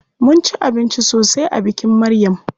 Mun ci abinci sosai a bikin Maryam.